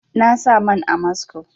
Na sa man amasco